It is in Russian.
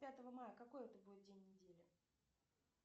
пятого мая какой это будет день недели